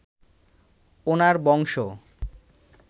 ওনার বংশ